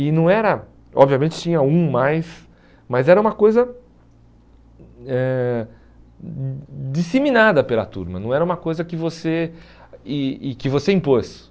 E não era, obviamente tinha um mais, mas era uma coisa eh disseminada pela turma, não era uma coisa que você ih ih que você impôs.